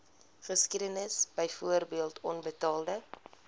geskiedenis byvoorbeeld onbetaalde